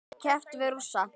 Nú sé keppt við Rússa.